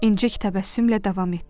İncik təbəssümlə davam etdi.